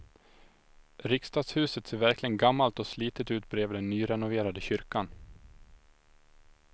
Riksdagshuset ser verkligen gammalt och slitet ut bredvid den nyrenoverade kyrkan.